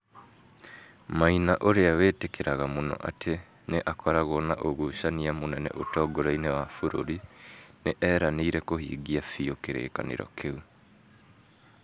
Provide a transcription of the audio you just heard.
Maina ũrĩa wĩtĩkĩrĩkaga mũno atĩ nĩ akoragwo na ũgucania mũnene ũtongoria-inĩ wa bũrũri, nĩ eranĩire kũhingia biũ kĩrĩkanĩro kĩu